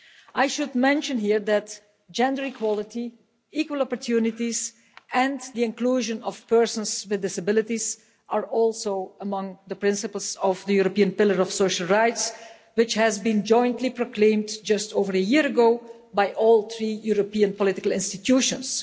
I should mention here that gender equality, equal opportunities and the inclusion of persons with disabilities are also among the principles of the European Pillar of Social Rights, which was jointly proclaimed just over a year ago by all three European political institutions.